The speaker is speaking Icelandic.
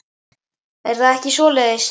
Er það ekki svoleiðis?